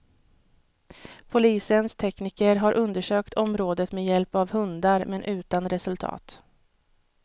Polisens tekniker har undersökt området med hjälp av hundar, men utan resultat.